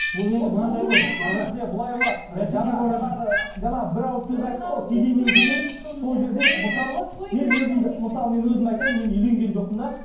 мысалы мен өзімді мысалы мен өзімді айтайын мен үйленген жоқпын да